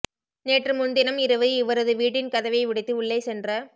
நேற்று முன்தினம் இரவு இவரது வீட்டின் கதவை உடைத்து உள்ளே சென்ற